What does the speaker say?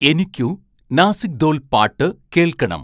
എനിക്കു നാസിക് ഥോൽ പാട്ട് കേൾക്കണം